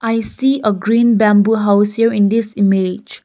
i see a green bamboo house here in this image.